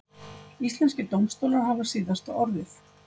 Íslenskir dómstólar hafa síðasta orðið